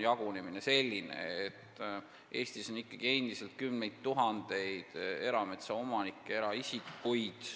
Nii et Eestis on endiselt kümneid tuhandeid eraisikutest erametsaomanikke.